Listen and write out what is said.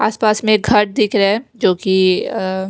आसपास में घर दिख रहे है जो कि अ--